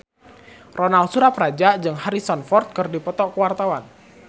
Ronal Surapradja jeung Harrison Ford keur dipoto ku wartawan